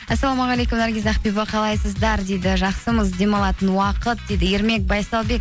ассалаумағалейкум наргиз ақбибі қалайсыздар дейді жақсымыз демалатын уақыт дейді ермек байсалбек